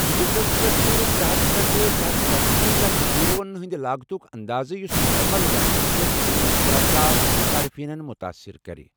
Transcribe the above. ہجرتس پیٹھ چُھ ترے ہتھَ پیٹھٕ ترے ہتھ ژتجی لَچھ یوٗروہن ہِنٛدِ لاگتُک انٛدازٕ، یُس مُکمل گَژھنس پیٹھ تقریٖباً شُراہ ساس صارفینن مُتٲثِر کرِ۔